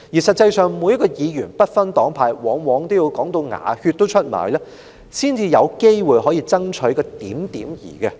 實際上，每位議員，不分黨派，往往也要"講到出牙血"才有機會爭取到一點兒好處。